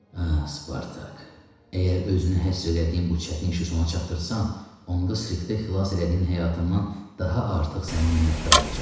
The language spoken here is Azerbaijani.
Hə, Spartak, əgər özünü həsr elədiyin bu çətin işi sona çatdırsan, onda Sirtə xilas elədiyin həyatımdan daha artıq sənə minnətdar olacam.